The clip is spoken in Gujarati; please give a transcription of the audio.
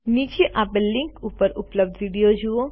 નીચે આપેલ લીંક ઉપર ઉપલબ્ધ વિડીઓ જુઓ